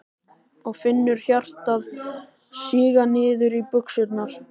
Og finnur hjartað síga niður í buxurnar.